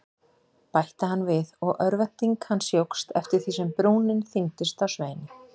bætti hann við og örvænting hans jókst eftir því sem brúnin þyngdist á Sveini.